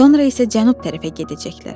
Sonra isə cənub tərəfə gedəcəklər.